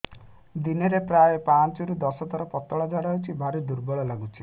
ଦିନରେ ପ୍ରାୟ ପାଞ୍ଚରୁ ଦଶ ଥର ପତଳା ଝାଡା ହଉଚି ଭାରି ଦୁର୍ବଳ ଲାଗୁଚି